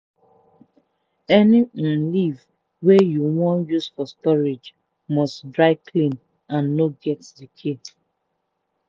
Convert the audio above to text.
any um leaf wey you wan use for storage must dry clean and no get decay.